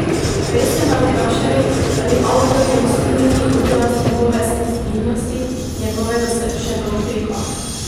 Prej ste me vprašali, ali avtorjev stil ni odraz njegove senzibilnosti, njegovega srčnega utripa.